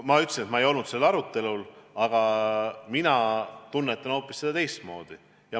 Ma ütlesin, et ma ei olnud sellel arutelul, aga mina tunnetan seda vastust hoopis teistmoodi.